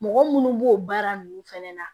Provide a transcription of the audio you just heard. Mɔgɔ munnu b'o baara ninnu fɛnɛ na